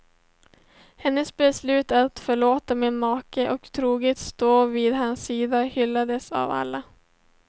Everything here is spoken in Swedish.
Hennes beslut att förlåta sin make och troget stå vid hans sida hyllades av alla.